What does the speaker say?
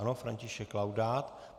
Ano, František Laudát.